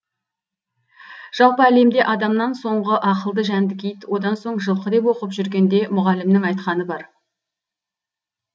жалпы әлемде адамнан соңғы ақылды жәндік ит одан соң жылқы деп оқып жүргенде мұғалімнің айтқаны бар